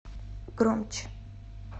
громче